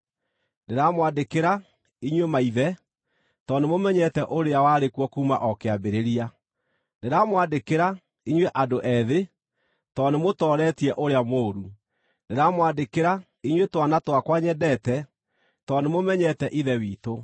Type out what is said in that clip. Ndĩramwandĩkĩra, inyuĩ maithe, tondũ nĩmũmenyete ũrĩa warĩ kuo kuuma o kĩambĩrĩria. Ndĩramwandĩkĩra, inyuĩ andũ ethĩ, tondũ nĩmũtooretie ũrĩa mũũru. Ndĩramwandĩkĩra, inyuĩ twana twakwa nyendete, tondũ nĩmũmenyete Ithe witũ.